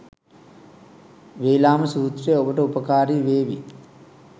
වේලාම සූත්‍රය ඔබට උපකාරී වේවි.